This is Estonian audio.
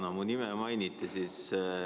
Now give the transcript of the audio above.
Jaa, minu nime mainiti.